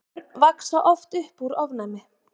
börn vaxa oft upp úr ofnæmi